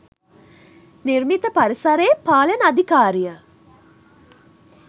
නිර්මිත පරිසරයේ පාලන අධිකාරිය